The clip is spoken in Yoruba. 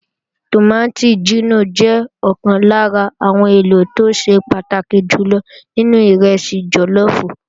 Tòmátì jínò jẹ́ ọ̀kan lára àwọn èlò tó ṣe pàtàkì jù lọ nínú ìrẹsì jọlọ́ọ̀fù